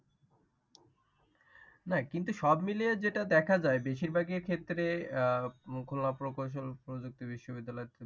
কিন্তু সব মিলিয়ে যেটা দেখা যায়, বেশির ভাগের ক্ষেত্রে আহ খুলনা প্রকৌশল প্রযুক্তি বিশ্ববিদ্যালয়।